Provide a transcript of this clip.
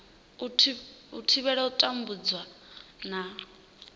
u thivhela u tambudzwa na